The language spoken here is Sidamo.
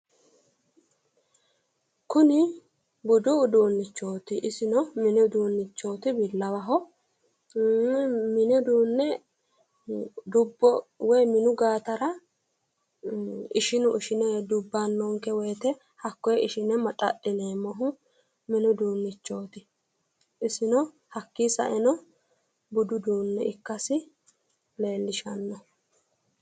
Kuni budu uduunchoti isino bi'lawaho minu qoxxeesi dubbano woyte maxadhineemmoho hakkinino sae budu uduunichoti